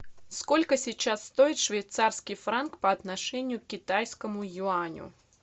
сколько сейчас стоит швейцарский франк по отношению к китайскому юаню